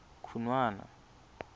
khunwana